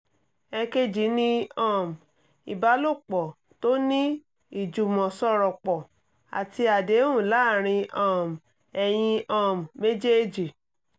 èkejì ní um ìbálòpọ̀ tó ní ìjùmọ̀sọ̀rọ̀pọ̀ àti àdéhùn láàárín um ẹ̀yin um méjèèjì